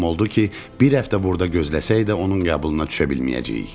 Məlum oldu ki, bir həftə burda gözləsək də onun qəbuluna düşə bilməyəcəyik.